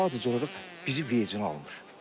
Sadəcə olaraq bizi vecinə almır.